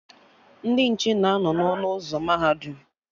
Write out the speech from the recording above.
Ndị nche na anọ n'ọnụ ụzọ mahadum